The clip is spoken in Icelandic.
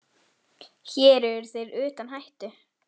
Hér eru þeir utan hættu.